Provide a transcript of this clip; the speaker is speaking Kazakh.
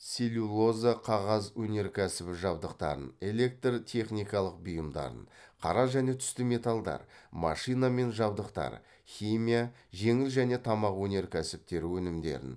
целлюлоза қағаз өнеркәсібі жабдықтарын электр техникалық бұйымдарын қара және түсті металдар машина мен жабдықтар химия жеңіл және тамақ өнеркәсібтері өнімдерін